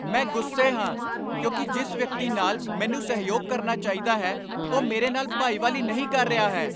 ਮੈਂ ਗੁੱਸੇ ਹਾਂ ਕਿਉਂਕਿ ਜਿਸ ਵਿਅਕਤੀ ਨਾਲ ਮੈਨੂੰ ਸਹਿਯੋਗ ਕਰਨਾ ਚਾਹੀਦਾ ਹੈ ਉਹ ਮੇਰੇ ਨਾਲ ਭਾਈਵਾਲੀ ਨਹੀਂ ਕਰ ਰਿਹਾ ਹੈ।